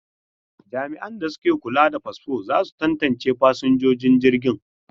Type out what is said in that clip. Jami'an da ke kula da fasfo za su tantance fasinjojin jirgin.